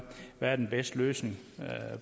hvad den bedste løsning